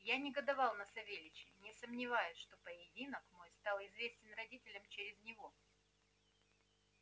я негодовал на савельича не сомневаясь что поединок мой стал известен родителям через него